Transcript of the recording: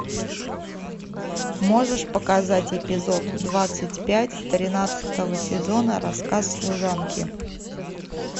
можешь показать эпизод двадцать пять тринадцатого сезона рассказ служанки